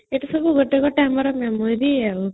ଏ ତ ସବୁ ଆମର ଗୋଟେ memory